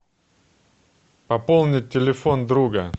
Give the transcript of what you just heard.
пополнить телефон друга